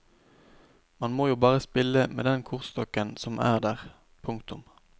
Man må jo bare spille med den kortstokken som er der. punktum